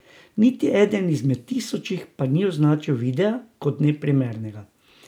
Niti eden izmed tisočih pa ni označil videa kot neprimernega.